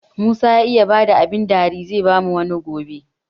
Musa ya iya bada abun dari, zai bamu wani ma gobe.